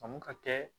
Faamu ka kɛ